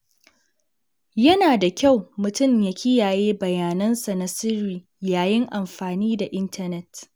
Yana da kyau mutum ya kiyaye bayanansa na sirri yayin amfani da intanet.